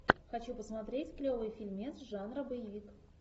хочу посмотреть клевый фильмец жанра боевик